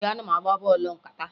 Ee, ana m agba bọọlụ nkata